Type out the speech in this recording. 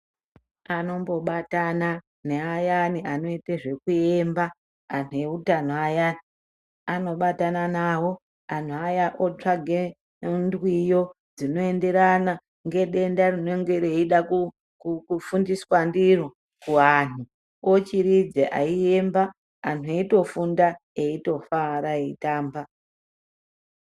Anombobatana neayani anoite zvekuyemba anhu eutano ayani anombobatana nawo anhuaya otsvake ndwiyo dzinoenderana ngedenda rinonga reida kufundiswa ndiro kuvanhu ochiridza eiemba anhu eitofunda eitofara eitamba.